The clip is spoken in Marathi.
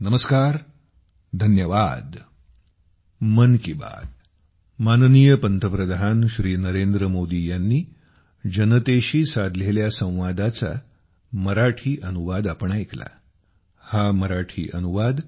नमस्कार धन्यवाद